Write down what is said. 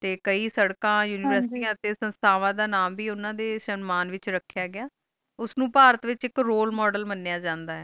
T ਕਈ ਸਰਕਣ univeristy ਡੀ ਸੰਸਾਵੇਰ ਦਾ ਨਾਮ ਬ ਓਨਾ ਡੀ ਸਮਾਂ ਵਿਚ ਰਾਖਿਯਾਂ ਗਿਆ ਉਸ ਨੂ ਪਰਥ ਵਿਚ ਇਕ ਰੋਯਲ ਮੋਦੇਲ ਮਾਨਿਯ ਜਾਂਦਾ